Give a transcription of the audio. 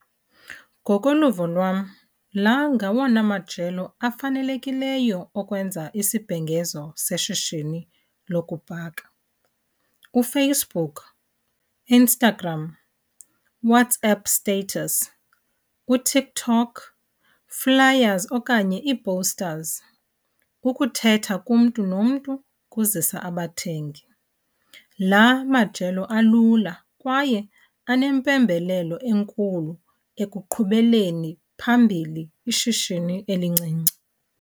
Ngokoluvo lwam laa ngawona majelo afanelekileyo okwenza isibhengezo seshishini lokubhaka. KuFacebook, Instagram, WhatsApp status, kuTikTok, flyers okanye ii-posters, ukuthetha kumntu nomntu kuzisa abathengi. La majelo alula kwaye anempembelelo enkulu ekuqhubeleni phambili ishishini elincinci.